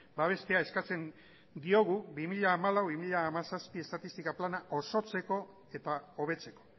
babestea eskatzen diogu bi mila hamalau bi mila hamazazpi estatistika plana osotzeko eta hobetzeko